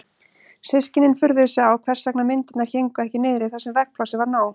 Systkinin furðuðu sig á hvers vegna myndirnar héngu ekki niðri þar sem veggplássið var nóg.